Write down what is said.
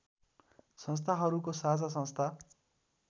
संस्थाहरूको साझा संस्था